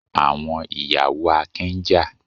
Àwọn ìyàwó Akin ń jà.